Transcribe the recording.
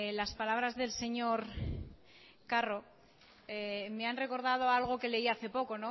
las palabras del señor carro me han recordado algo que leí hace poco